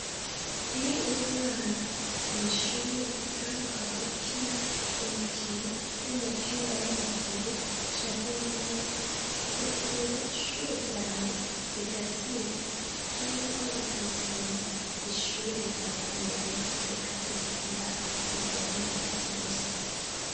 Iyo uri umwana kw'ishure kandi ukaba ukina umukino w'umupira w'amaguru canke w'amaboko, ugakinira ishure ryawe rigatsinda canke naho ritotsinda, ishure rirakumenya rikakurihira ivyankenerwa vyose.